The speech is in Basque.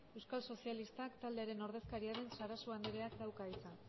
euskal sozialistak taldearen ordezkaria den sarasua andereak dauka hitza